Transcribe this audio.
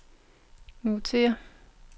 notér